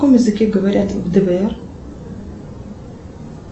на каком языке говорят в двр